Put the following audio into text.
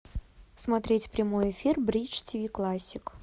смотреть прямой эфир бридж тв классик